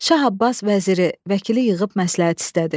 Şah Abbas vəziri, vəkili yığıb məsləhət istədi.